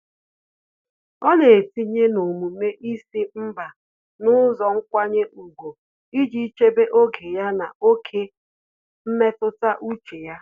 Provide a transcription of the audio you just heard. Ọ́ nà-etinye n'omume ísí mbá n’ụ́zọ́ nkwanye ùgwù iji chèbé oge ya na ókè mmetụta úchè ya.